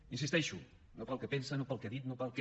hi insisteixo no pel que pensa no pel que ha dit no pel que